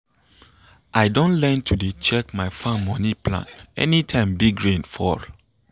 i do learn to dey check my farm moni plan anytime big rain fall.